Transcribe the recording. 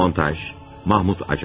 Montaj, Mahmud Acar.